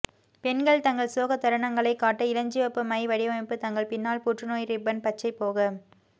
பெண்கள் தங்கள் சோக தருணங்களை காட்ட இளஞ்சிவப்பு மை வடிவமைப்பு தங்கள் பின்னால் புற்றுநோய் ரிப்பன் பச்சை போக